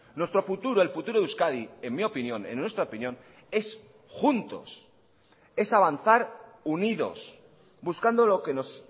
nuestro futuro el futuro de euskadi en mi opinión en nuestra opinión es juntos es avanzar unidos buscando lo que nos